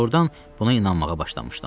Doğrudan buna inanmağa başlamışdım.